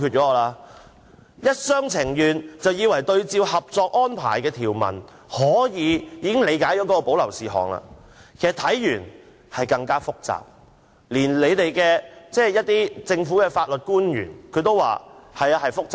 政府一廂情願，以為參照《合作安排》的條文便可以理解何謂保留事項，但其實令人更覺複雜，連政府的法律官員亦表示複雜。